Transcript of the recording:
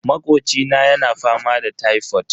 Makocina yana fama da tifod.